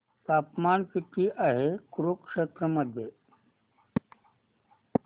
तापमान किती आहे कुरुक्षेत्र मध्ये